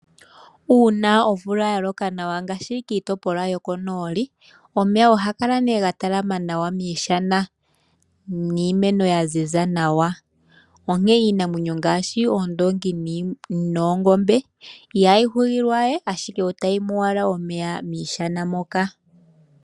Uuna omvula ya loka nawa ngaashi kiitopolwa yokonooli, Omeya oha ga kala nee ga talama nawa miishana niimeno ya ziza nawa, onkee iinamwenyo ngaashi oondoongi noongombe ihayi ugilwa we ashike otayi nu owala omeya miishana moka.